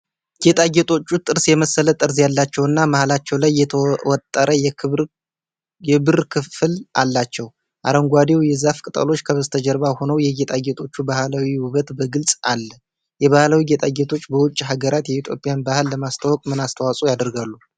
ጌጣጌጦቹ ጥርስ የመሰለ ጠርዝ ያላቸውና መሃላቸው ላይ የተወጠረ የብር ክፍል አላቸው። አረንጓዴው የዛፍ ቅጠሎች ከበስተጀርባ ሆነው፣ የጌጣጌጦቹ ባህላዊ ውበት በግልጽ አል። የባህላዊ ጌጣጌጦች በውጭ ሀገራት የኢትዮጵያን ባህል ለማስተዋወቅ ምን አስተዋጽኦ ያደርጋሉ?